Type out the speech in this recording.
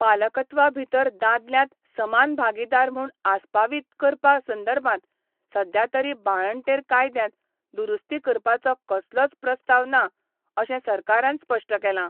पालकत्वा भितर दादल्यांत समान भागीदार म्हूण आसपावीत करपा संदर्भात सध्या तरी बाळंटेर कायद्यांत दुरुस्ती करपाचो कसलोच प्रस्ताव ना अशें सरकारान स्पश्ट केलां.